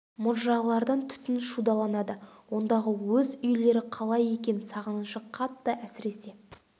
мұржалардан түтін шудаланады ондағы өз үйлері қалай екен сағынышы қатты әсіресе балаларды аңсағанын айтсаңшы ауылдың төбесін